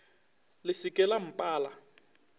le se ke la mpala